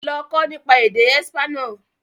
Lọ kọ́ nípa èdè espanol!